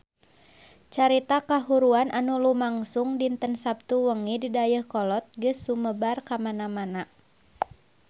Carita kahuruan anu lumangsung dinten Saptu wengi di Dayeuhkolot geus sumebar kamana-mana